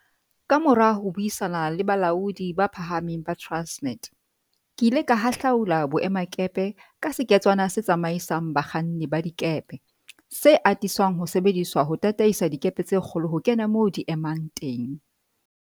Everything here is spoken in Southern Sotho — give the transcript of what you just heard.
Kamora ho buisana le balaodi ba phahameng ba Transnet, ke ile ka hahlaula boemakepe ka seketswana se tsamaisang bakganni ba dikepe, se atisang ho sebediswa ho tataisa dikepe tse kgolo ho kena moo di emang teng.